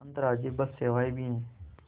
अंतर्राज्यीय बस सेवाएँ भी हैं